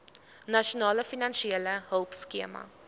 nasionale finansiële hulpskema